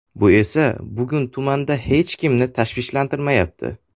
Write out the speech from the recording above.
Bu esa bugun tumanda hech kimni tashvishlantirmayapti.